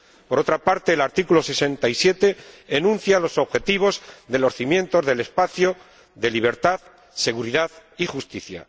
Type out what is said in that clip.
Por otra parte, el artículo 67 enuncia los objetivos de los cimientos del espacio de libertad, seguridad y justicia.